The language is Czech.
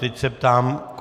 Teď se ptám.